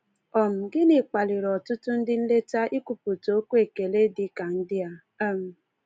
um Gịnị kpaliri ọtụtụ ndị nleta ikwupụta okwu ekele dị ka ndị a? um